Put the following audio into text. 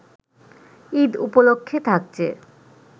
ঈদ উপলক্ষে থাকছে